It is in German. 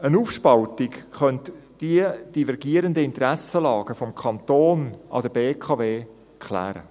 Eine Aufspaltung könnte diese divergierenden Interessenlagen des Kantons an der BKW klären.